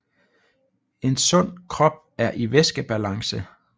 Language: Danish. En sund krop er i væskebalance